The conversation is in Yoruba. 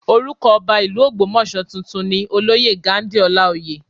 Orúkọ Ọba ìlú Ogbomoso tuntun ni olóyè Ghandi Olaoye